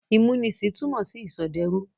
Ìmúnisìn túmọ̀ sí ìsọdẹrú.